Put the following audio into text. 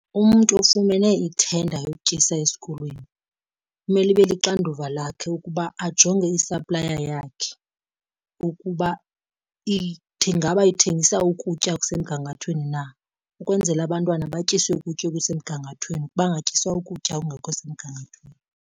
Umntu ofumene ithenda yokutyisa esikolweni kumele ibe lixanduva lakhe ukuba ajonge isaplaya yakhe ukuba ingaba ithengisa ukutya okusemgangathweni na ukwenzela abantwana batyiswe ukutya okusemgangathweni bangatyiswa ukutya okungekho semgangathweni.